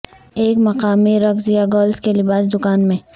ایک مقامی رقص یا گرلز کے لباس دکان میں